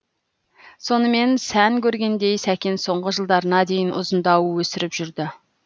сонымен сән көргендей сәкен соңғы жылдарына дейін ұзындау өсіріп жүрді